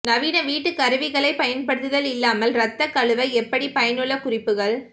நவீன வீட்டு கருவிகளைப் பயன்படுத்துதல் இல்லாமல் இரத்த கழுவ எப்படி பயனுள்ள குறிப்புகள்